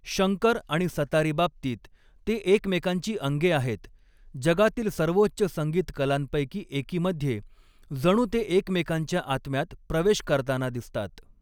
शंकर आणि सतारीबाबतीत, ते एकमेकांची अंगे आहेत, जगातील सर्वोच्च संगीत कलांपैकी एकीमध्ये, जणू ते एकमेकांच्या आत्म्यात प्रवेश करताना दिसतात.